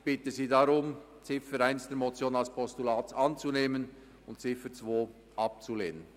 Ich bitte Sie deshalb, Ziffer 1 der Motion als Postulat anzunehmen und Ziffer 2 abzulehnen.